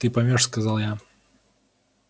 ты поймёшь сказал я